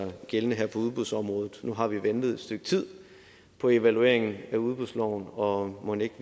gældende her på udbudsområdet nu har vi ventet et stykke tid på evalueringen af udbudsloven og mon ikke